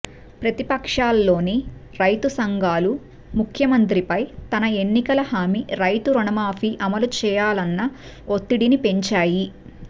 ప్రతిపక్షాల్లోని రైతు సంఘాలుముఖ్యమంత్రిపై తన ఎన్నికల హామీ రైతురుణమాఫీ అమలుచేయాలన్న ఒత్తిడిని పెంచాయి